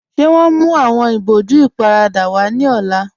Ṣé wọn mú awọn ibòjú íparádà wa ni ọ̀lá?